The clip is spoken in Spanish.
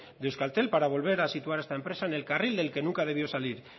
de euskaltel para volver a situar a esta empresa en el carril del que nunca debió salir